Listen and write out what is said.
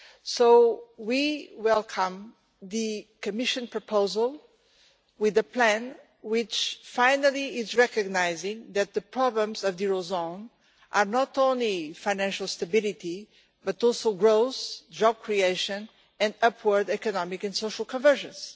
So we welcome the Commission's proposal with a plan which, finally, recognises that the problems of the eurozone are not only financial stability, but also growth, job creation and upward economic and social convergence.